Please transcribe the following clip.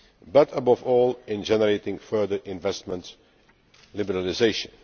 but above all in generating further investment liberalisation.